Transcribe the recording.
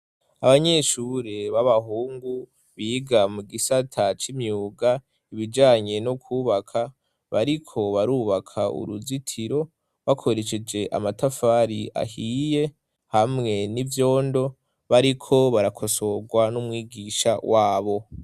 Abanyeshure b'abahungu biga mu gisata c' imyuga ibijanye no kwubaka, bariko barubaka uruzitiro bakoresheje amatafari ahiye hamwe n'ivyondo bariko barakosorwa n'umwigisha wabo.